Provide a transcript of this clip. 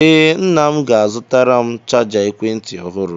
Ee, nna m ga-azụtara m chaja ekwentị ọhụrụ.